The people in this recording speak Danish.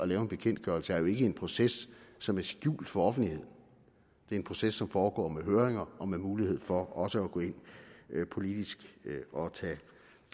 lave en bekendtgørelse jo ikke er en proces som er skjult for offentligheden det er en proces som foregår med høringer og med mulighed for også at gå ind politisk og tage